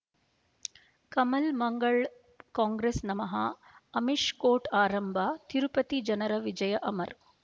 ಕಮಲ್ ಮಂಗಳ್ ಕಾಂಗ್ರೆಸ್ ನಮಃ ಅಮಿಷ್ ಕೋರ್ಟ್ ಆರಂಭ ತಿರುಪತಿ ಜನರ ವಿಜಯ ಅಮರ್